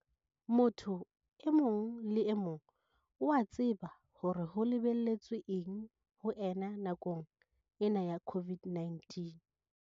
Motho e mong le emong o a tseba hore ho lebelletswe eng ho ena nakong ena ya COVID-19.